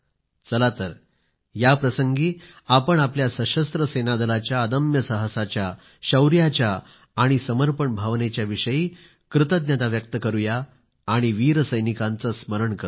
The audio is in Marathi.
चला तर या प्रसंगी आपण आपल्या सशस्त्र सेनादलाच्या अदम्य साहसाच्या शौर्याच्या आणि समर्पण भावनेच्या विषयी कृतज्ञता व्यक्त करूया आणि वीर सैनिकांचं स्मरण करूया